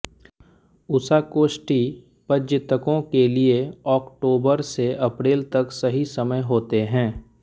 उषाकोठी पर्ज्यतकों के लिए ओक्टोबर से अप्रैल तक सही समय होते है